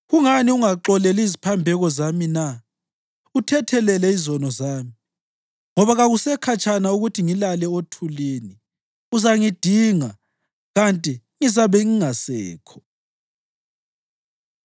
Kungani ungaxoleli iziphambeko zami na, uthethelele izono zami? Ngoba kakusekhatshana ukuthi ngilale othulini; uzangidinga, kanti ngizabe ngingasekho.”